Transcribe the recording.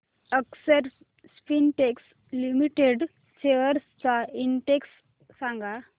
अक्षर Spintex Limited shares चा index सांगा